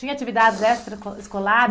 Tinha atividades extraescolares,